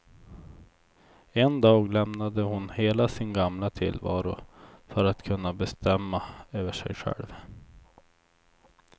En dag lämnade hon hela sin gamla tillvaro för att kunna bestämma över sig själv.